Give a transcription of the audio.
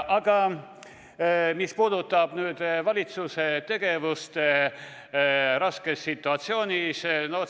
Aga nüüd sellest, mis puudutab valitsuse tegevust raskes situatsioonis.